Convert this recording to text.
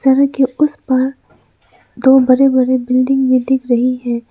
सड़क के उस पार दो बड़े बड़े बिल्डिंग भी दिख रही है।